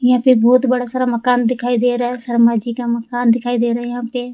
यहां पे एक बहुत बड़ा सारा मकान दिखाई दे रहा है शर्मा जी का मकान दिखाई दे रहे है यहां पे --